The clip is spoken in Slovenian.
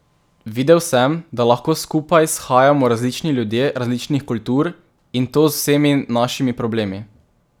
Videl sem, da lahko skupaj shajamo različni ljudje različnih kultur, in to z vsemi našimi problemi.